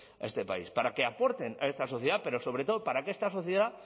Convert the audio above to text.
a este país para que aporten a esta sociedad pero sobre todo para que esta sociedad